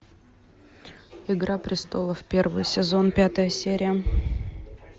игра престолов первый сезон пятая серия